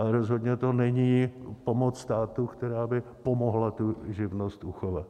A rozhodně to není pomoc státu, která by pomohla tu živnost uchovat.